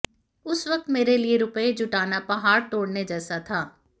उस वक्त मेरे लिए रुपये जुटाना पहाड़ तोड़ने जैसा था